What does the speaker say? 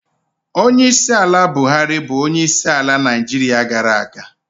Onyeisiala Buhari bụ onyeisiala Naịjirịa gara aga.